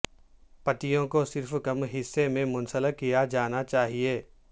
پتیوں کو صرف کم حصے میں منسلک کیا جانا چاہئے